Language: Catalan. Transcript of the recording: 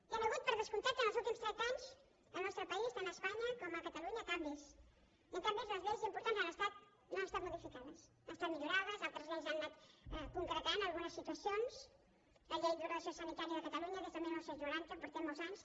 hi han hagut per descomptat en els últims trenta anys al nostre país tant a espanya com a catalunya canvis i en canvi les lleis importants no han estat modificades han estat millorades altres lleis han anat concretant algunes situacions la llei d’ordenació sanitària de catalunya des del dinou noranta portem molts anys